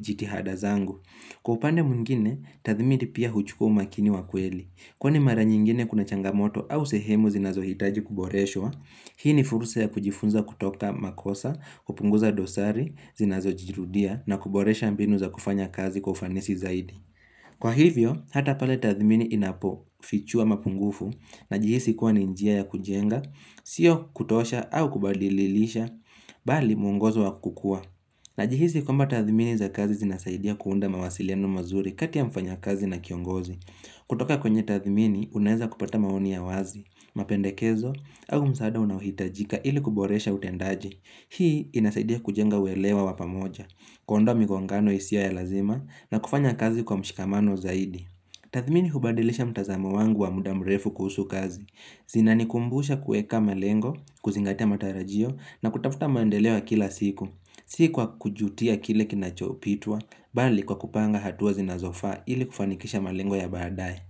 jitihada zangu. Kupande mungine, tathmini pia huchukua umakini wa kweli. Kwa ni mara nyingine kuna changamoto au sehemu zinazo hitaji kuboreshwa, hii ni fursa ya kujifunza kutoka makosa, kupunguza dosari, zinazo jirudia na kuboresha mbinu za kufanya kazi kufanisi zaidi. Kwa hivyo, hata pale tathmini inapo fichua mapungufu na jihisi kuwa ninjia ya kujenga, sio kutosha au kubadililisha, bali mungozo wa kukua. Na jihisi kumba tathimini za kazi zinasaidia kuunda mawasiliano mazuri kati ya mfanya kazi na kiongozi. Kutoka kwenye tathimini, unaeza kupata maoni ya wazi, mapendekezo, au msaada unahitajika ili kuboresha utendaji. Hii inasaidia kujenga welewa wapamoja, kundwa migongano isiwa ya lazima, na kufanya kazi kwa mshikamano zaidi. Tathimini hubadilisha mtazamo wangu wa mudamrefu kuhusu kazi. Zinani kumbusha kueka melengo, kuzingatia matarajio, na kutafuta mandeleo kila siku. Sikuwa kujutia kile kinachopitwa, bali kwa kupanga hatuwa zinazofa ili kufanikisha malengo ya badaye.